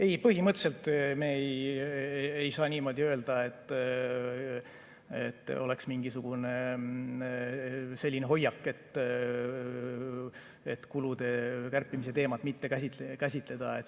Ei, põhimõtteliselt ei saa niimoodi öelda, et oleks mingisugune selline hoiak, et kulude kärpimise teemat mitte käsitleda.